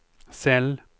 cell